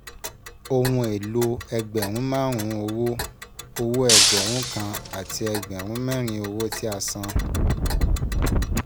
Ohùn èlò ẹgbẹ̀rún márùn-ún owó, owó ẹgbẹ̀rún kan àti ẹgbẹ̀rún mẹ́rin owó tí a san